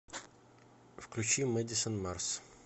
включи мэдисон марс